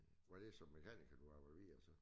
Var det som mekaniker du arbejdede videre som